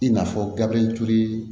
I n'a fɔ gabiriyɛri ture